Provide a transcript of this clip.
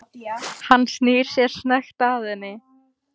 Hann snýr sér snöggt að henni.